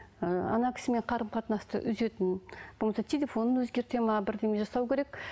ы кісімен қарым қатынасты үзетін болмаса телефонын өзгертеді ме бірдеме жасау керек